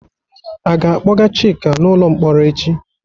A ga-akpọga Chika n'ụlọ mkpọrọ echi?